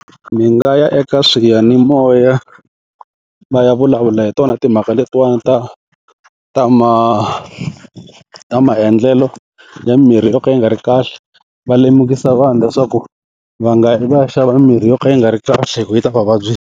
Mi nga ya eka swiyanimoya va ya vulavula hi tona timhaka letiwana ta ta ma ta maendlelo ya mimirhi yo ka yi nga ri kahle va lemukisa vanhu leswaku va nga yi va ya xava mimirhi yo ka yi nga ri kahle hi ku yi ta va vabyi.